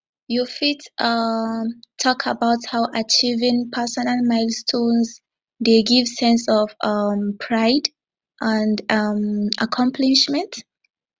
you fit um talk about how achieving personal milestones dey give sense of um pride and um accomplishment